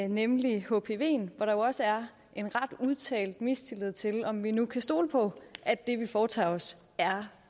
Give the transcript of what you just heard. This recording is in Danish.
nemlig hpv hvor der også er en ret udtalt mistillid til om vi nu kan stole på at det vi foretager os er